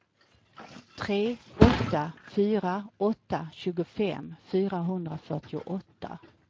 tre åtta fyra åtta tjugofem fyrahundrafyrtioåtta